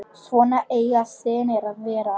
Svona eiga synir að vera.